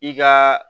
I ka